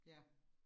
Ja